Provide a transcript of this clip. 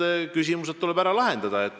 Need küsimused tuleb ära lahendada.